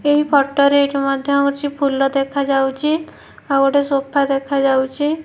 ଏହି ଫୋଟ ରେ ଏଇଠି ମଧ୍ଯ ହଉଚି ଫୁଲ ଦେଖାଯାଉଚି ଆଉ ଗୋଟେ ସୋଫା ଦେଖାଯାଉଚି।